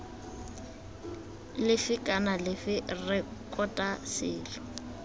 lefe kana lefe rekota selo